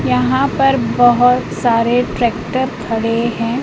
यहां पर बहोत सारे ट्रैक्टर खड़े हैं।